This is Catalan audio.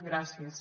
gràcies